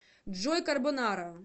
джой карбонара